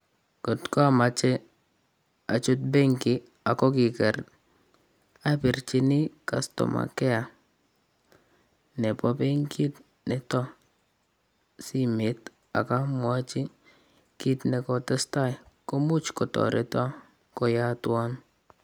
At amache achut benki ako kikiker, abirchini customer care nebo benkit nitok simet ak amwachi kit nekatetai komuch kotoreto koyatwa .